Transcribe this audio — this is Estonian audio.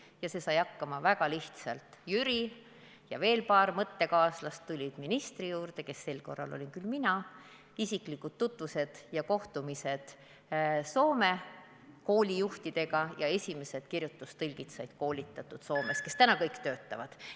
Sellega saadi hakkama väga lihtsalt: Jüri ja veel paar mõttekaaslast tulid ministri juurde, kes sel korral olin mina, olid isiklikud kohtumised Soome koolijuhtidega ning esimesed kirjutustõlgid said koolitatud Soomes, täna nad kõik töötavad.